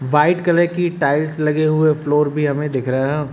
White colour की tiles लगे हुए फ्लोर भी हमें दिख रहा है।